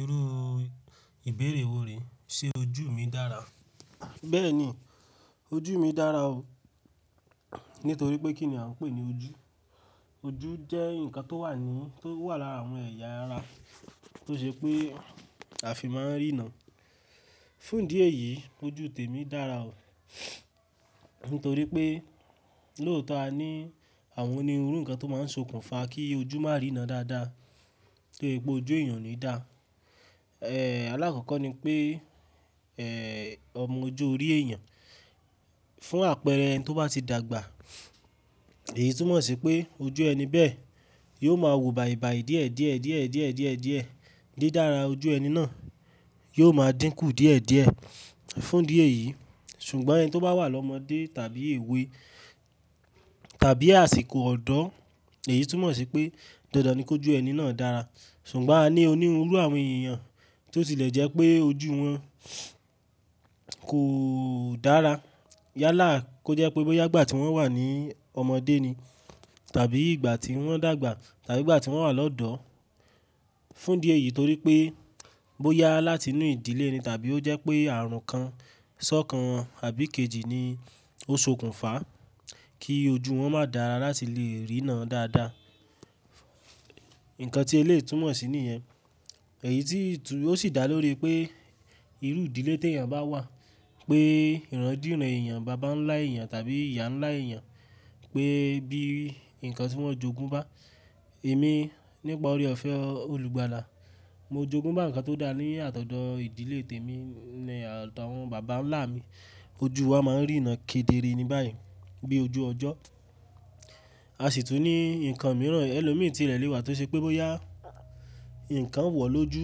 Irú ìbéèrè wo rè? Ṣé ojú mi dára? Bẹ́ẹ́ni, ojú mi dára o. Nítorí pé kí ni a ń pè ní ojú? Ojú jẹ́ ǹkan tó wà ní, tó wà lára àwọn ẹ̀yà ara tó ṣe pé a fi máa ń ríràn. Fún ìdí èyí ojú tèmi dára o. Lóòtọ́ a ní àwọn onírú ǹkan tó máa ń sokùnfa kí ojú má rína dáadáa, kí gbogbo ojú èèyàn ní dà. Ẹ̀, alákọ̀ọ́kọ́ ni pé, ẹ̀, ọmọ ọ̀jọ̀ orí èèyàn. Fún àpẹẹrẹ ẹni tó bá ti dàgbà, èyí túmọ̀ sí pé ojú ẹni bẹ́ẹ̀ yóò máa wù bàìbàì díẹ̀díẹ̀díẹ̀díẹ̀díẹ̀díẹ̀ díẹ̀ dára ojú ẹni náà yóò máa dínkù díẹ̀díẹ̀. Fún ìdí èyí, ṣùgbọ́n ẹniyàn tó bá wà lọ́mọdé tàbí èwe tàbí àsìkò ọ̀dọ́, èyí túmọ̀ sí pé dandan ni kí ojú ẹni náà dára. Ṣùgbọ́n a ní onírú àwọn èèyàn tó ti lẹ̀ jẹ́ pé ojú wọn kò dára. Yálà kó jẹ́ pé bóyá ìgbà tí wọ́n wà ní ọmọdé ni tàbí ìgbà tí wọ́n dàgbà tàbí ìgbà tí wọ́n wà lọ́dọ̀. Fún ìdí èyí torí pé bóyá láti inú ìdílé ni tàbí ó jẹ́ pé ààrùn kan, iṣẹ́ kan àbí kejì ni ó sokùnfa kí ojú wọn má dàrá láti lè rína dáadáa. Ǹkan tí eléyìí túmọ̀ sí nìyẹn, èyí tí ó sì dá lórí pé irú ìdílé tí èèyàn bá wà, pé ìrádìínrá èèyàn, bàbá ńlá èèyàn tàbí ìyá ńlá èèyàn pé bí ǹkan tí wọ́n jẹ́ ògún bá. Èmi nípa oore-ọ̀fẹ́ olùgbàlà, mo jogún bá ǹkan tó dára ní àtọ̀dọ́ ìdílé tèmi, ní àtọ̀dọ́ àwọn bàbá ńlá mi. Ojú wa máa ń rína kedere ni báyìí bí ojú ọjọ́. A sì tún ní ǹkan mìíràn ẹlòmíràn tí ìrẹ̀ lè wà tó ṣe pé bóyá ǹkan wọ̀ lójú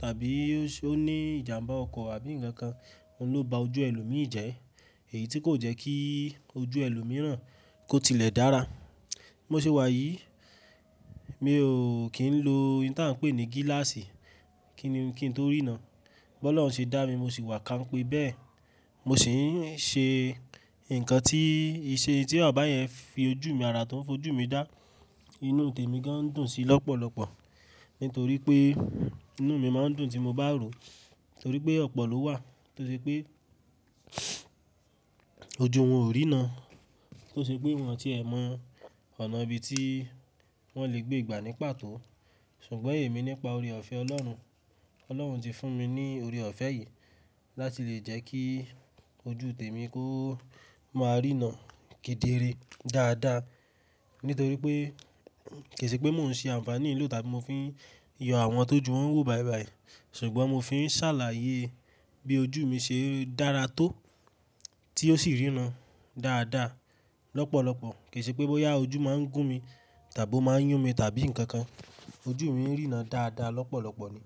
tàbí ó ní ìjàmbá ọkọ̀ àbí ǹkan kan ló ba ojú ẹlòmíràn jẹ́. Èyí tí kò jẹ́ kí ojú ẹlòmíràn kó tilẹ̀ dára. Mo sì wà yìí, mi ò kín lo ohun tí a ń pè ní gíláàsì kí n, kí n tó rína. Ọlọ́run ṣe dá mi mo sì wà ká m pe bẹ́ẹ̀. Mo sì ń ṣe ǹkan tí iṣẹ́ tí Ọba yẹn fi ojú mi ara tó ń fojú mi dá. Inú tèmi gán dùn sí lọ́pọ̀lọ́pọ̀. Nítorí pé inú mi máa ń dùn tí mo bá ro. Nítorí pé ọ̀pọ̀ ló wà tó ṣe pé ojú wọn ò rína. Tó ṣe pé wọ́n ti ẹ̀ mọ ọ̀nà bí i tí wọ́n lè gbé ìgbà ní pàtó. Ṣùgbọ́n èmi nípa oore-ọ̀fẹ́ Ọlọ́run, Ọlọ́run ti fún mi ní oore-ọ̀fẹ́ yìí láti lè jẹ́ kí ojú tèmi kó máa rína kedere dáadáa. Nítorí pé kò sì pé mò ń ṣe àǹfàní ìlú tàbí mo fi ń yọ àwọn tó ju wọn wò bàìbàì. Ṣùgbọ́n mo fi ń ṣàlàyé bí ojú mi ṣe dára tó tí ó sì rína dáadáa lọ́pọ̀lọ́pọ̀. Kò sì pé bóyá ojú máa ń gún mi tàbí ó máa ń yún mi tàbí ǹkan kan. Ojú mi ń rína dáadáa lọ́pọ̀lọ́pọ̀ ni.